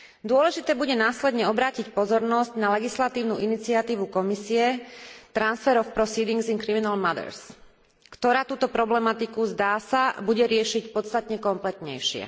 Dôležité bude následne obrátiť pozornosť na legislatívnu iniciatívu Komisie Transfer of Proceedings in Criminal Matters, ktorá túto problematiku, zdá sa, bude riešiť podstatne kompletnejšie.